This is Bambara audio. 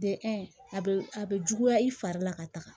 a bɛ a bɛ juguya i fari la ka taga